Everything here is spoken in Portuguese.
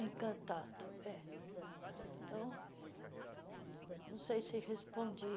Encantado, é. Então, não sei se respondi.